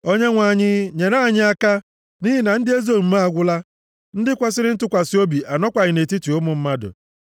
Onyenwe anyị, nyere anyị aka! Nʼihi na ndị ezi omume agwụla! Ndị kwesiri ntụkwasị obi anọkwaghị nʼetiti ụmụ mmadụ.